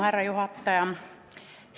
Härra juhataja!